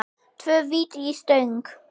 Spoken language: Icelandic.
Tvö víti í stöng?